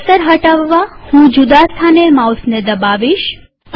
cursor હટાવવા હું જુદા સ્થાને માઉસ દબાવીશ